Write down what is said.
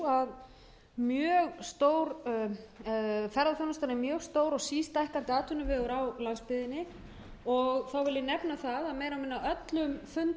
að ferðaþjónustan er mjög stór og sístækkandi atvinnuvegur á landsbyggðinni þá vil ég nefna það að á meira og minna öllum